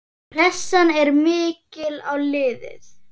Pressan er mikil á liðið.